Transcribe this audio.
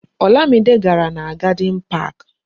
Olamide gàrà na Garden Park